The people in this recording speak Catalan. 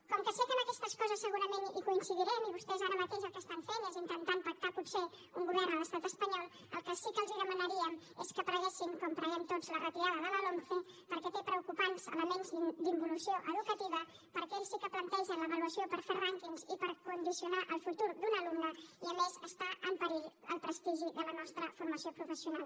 com que sé que en aquestes coses segurament hi coincidirem i vostès ara mateix el que fan és intentar pactar potser un govern a l’estat espanyol el que sí que els demanaríem és que preguessin com preguem tots la retirada de la lomce perquè té preocupants elements d’involució educativa perquè ells sí que plantegen l’avaluació per fer rànquings i per condicionar el futur d’un alumne i a més està en perill el prestigi de la nostra formació professional